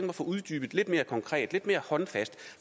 at få uddybet lidt mere konkret lidt mere håndfast